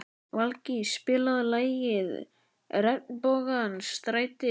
Valgý, spilaðu lagið „Regnbogans stræti“.